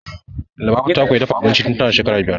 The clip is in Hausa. Lubabatu ta koya dafa abinci tun tana shekara biyar